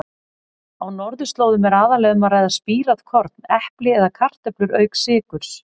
Á norðurslóðum er aðallega um að ræða spírað korn, epli eða kartöflur auk sykurs.